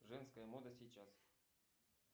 женская мода сейчас